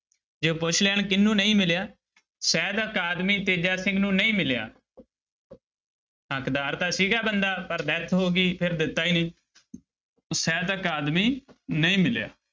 ਜੇ ਪੁੱਛ ਲੈਣ ਕਿਹਨੂੰ ਨਹੀਂ ਮਿਲਿਆ ਸਾਹਿਤ ਅਕਾਦਮੀ ਤੇਜਾ ਸਿੰਘ ਨੂੰ ਨਹੀਂ ਮਿਲਿਆ ਹੱਕਦਾਰ ਤਾਂ ਸੀਗਾ ਬੰਦਾ ਪਰ death ਹੋ ਗਈ ਫਿਰ ਦਿੱਤਾ ਹੀ ਨੀ ਸਾਹਿਤ ਅਕਾਦਮੀ ਨਹੀਂ ਮਿਲਿਆ।